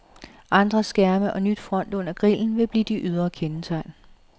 Andre skærme og ny front under grillen vil blive de ydre kendetegn.